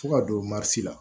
Fo ka don la